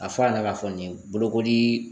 A fɔ a nana k'a fɔ nin bolokoli